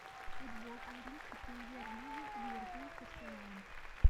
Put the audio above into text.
футбол английской премьер лиги ливерпуль с арсеналом